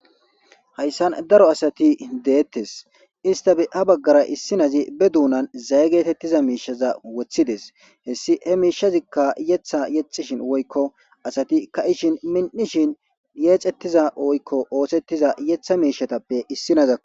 Hayisan daro asati deettes istabe ha baggara issinazi be duunan zaye geetettiza miishaza wothides hessi he miishazikka yetha yexishin woykko asati ka ishin min'ishin yeexettiza oykko oosettiza yetha miishatappe issinazako